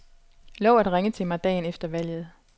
Lov at ringe til mig dagen efter valget.